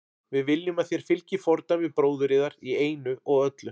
Við viljum að þér fylgið fordæmi bróður yðar í einu og öllu.